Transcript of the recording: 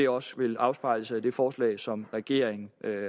også vil afspejle sig i det forslag som regeringen